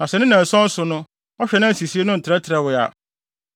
“Na sɛ ne nnanson so no ɔhwɛ na sɛ nsisii no ntrɛtrɛwee a,